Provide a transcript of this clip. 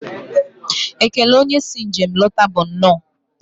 Ekele onye si njem lọta bụ nnọọ.